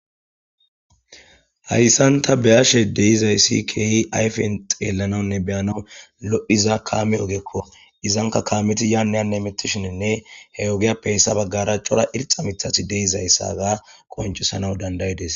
hayssanta beyashe deizayssi keehi ayfen xeellanaunne beyanaw lo7hiza kaame ogekko izanka kaameti yaaneyanne mitishininne he wogeyappeyssa baggaraacora irxa mithasi deizayssaga qoncusanaw dandayides